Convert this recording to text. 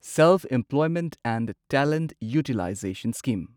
self employment and talent utilization scheme